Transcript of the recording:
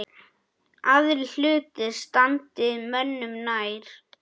Aðrir hlutir standi mönnum nær.